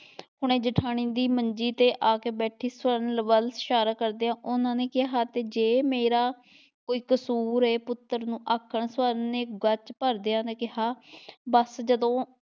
ਹੁਣੇ ਜੇਠਾਣੀ ਦੀ ਮੰਜੀ ਤੇ ਆ ਕੇ ਬੈਠੀ ਸਵਰਨ ਵੱਲ ਇਸ਼ਾਰਾ ਕਰਦਿਆਂ ਉਹਨਾਂ ਨੇ ਕਿਹਾ ਤੇ ਜੇ ਮੇਰਾ ਕੋਈ ਕਸੂਰ ਹੈ ਪੁੱਤਰ ਨੂੰ ਆਖਣ ਸਵਰਨ ਨੇ ਗੱਚ ਭਰਦਿਆਂ ਕਿਹਾ ਬਸ ਜਦੋਂ